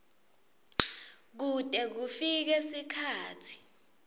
kute kufike sikhatsi